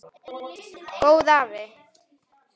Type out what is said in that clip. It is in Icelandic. Góði afi.